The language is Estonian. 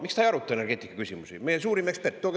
Miks ta ei aruta energeetikaküsimusi, meie suurim ekspert?